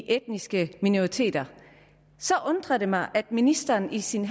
etniske minoriteter så undrer det mig at ministeren i sin